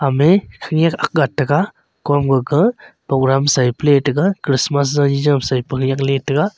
khenyak akga tega komaka programme saipa litaiga christmas jaji jam sai pa yak letaiga.